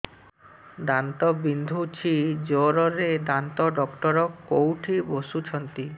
ଦାନ୍ତ ବିନ୍ଧୁଛି ଜୋରରେ ଦାନ୍ତ ଡକ୍ଟର କୋଉଠି ବସୁଛନ୍ତି